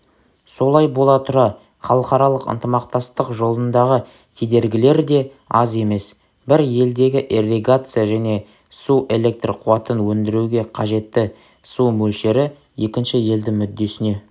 солай бола тұра халықаралық ынтымақтастық жолындағы кедергілер де аз емес бір елдегі ирригация және су электр қуатын өндіруге қажетті су мөлшері екінші елдің мүддесіне